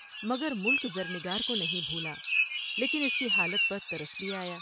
مگر ملک زرنگار کو نہیں بھولا لیکن اس کی حالت پر ترس بھی آیا ۔